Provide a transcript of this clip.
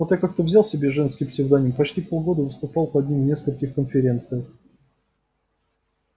вот я как-то взял себе женский псевдоним и почти полгода выступал под ним в нескольких конференциях